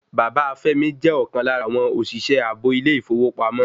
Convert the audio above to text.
Bàbá Fẹ́mi jẹ́ ọ̀kan lára àwọn òṣìṣẹ́ ààbò ilé ìfowópamọ́